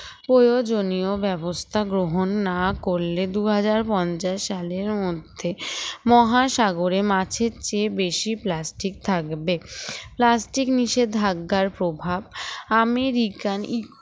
প্রয়োজনীয় ব্যবস্থা গ্রহণ না করলে দুই হাজার পঞ্চাশ সালের মধ্যে মহাসাগরে মাছের চেয়ে বেশি plastic থাকবে plastic নিষেধাজ্ঞার প্রভাব আমেরিকান